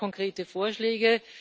Haben Sie da konkrete Vorschläge?